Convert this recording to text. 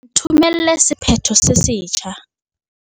Nthomelle sephetho se setjha.